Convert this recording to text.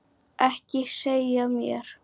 Ekki segja mér,